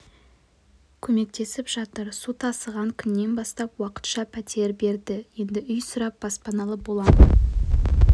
көмектесіп жатыр су тасыған күннен бастап уақытша пәтер берді енді үй сұрап баспаналы боламыз деген